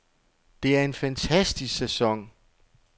Det er en fantastisk sæson.